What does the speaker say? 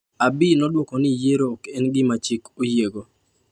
Abiy nodwoko ni yiero ok en gima chik oyiego.